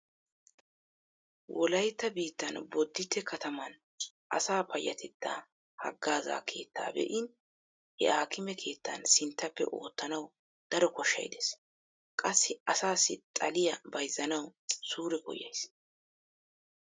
Wolaytta biittan bodditte kataman asa payyatettaa haggaazza keettaa be'in he aakime keettan sinttappe oottanawu daro koshshay dees. Qassi asaassi xaliya bayzzanawu suure koyyays.